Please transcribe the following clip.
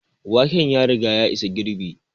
Waken ya riga ya isa girɓi